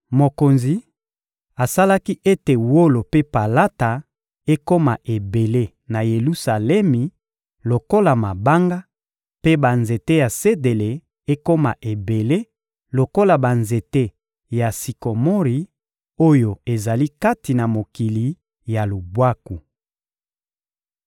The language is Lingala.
Mokonzi asalaki ete wolo mpe palata ekoma ebele na Yelusalemi lokola mabanga, mpe banzete ya sedele ekoma ebele lokola banzete ya sikomori oyo ezali kati na mokili ya lubwaku.